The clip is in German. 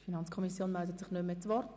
Die FiKo meldet sich nicht mehr zu Wort.